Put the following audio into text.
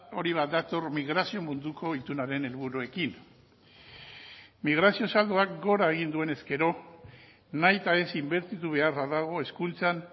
hori bat dator migrazio munduko itunaren helburuekin migrazio saldoak gora egin duenez gero nahita ez inbertitu beharra dago hezkuntzan